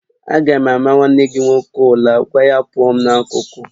Aga m ama nwanne gị nwoke ula, gwa ya pụọ m n'akụkụ